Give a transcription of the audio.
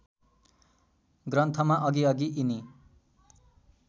ग्रन्थमा अघिअघि यिनी